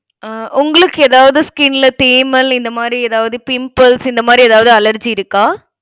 அஹ் உங்களுக்கு ஏதாவது skin ல தேமல், இந்த மாதிரி ஏதாவது pimples இந்த மாதிரி, ஏதாவது allergy இருக்கா